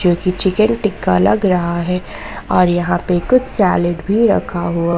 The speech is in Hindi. ये चिकन टिक्का लग रहा है और यहां पे कुछ सैलेड भी रखा हुआ--